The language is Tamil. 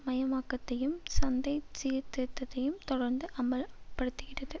மயமாக்கத்தையும் சந்தை சீர்திருத்தத்தையும் தொடர்ந்தும் அமலப்படுத்துகிறது